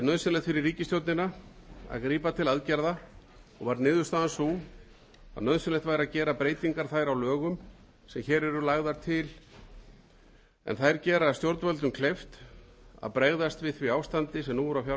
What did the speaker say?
er nauðsynlegt fyrir ríkisstjórnina að grípa til aðgerða og var niðurstaðan sú að nauðsynlegt væri að gera breytingar þær á lögum sem hér eru lagðar til en þær gera stjórnvöldum kleift að bregðast við því ástandi sem nú er á fjármálamörkuðum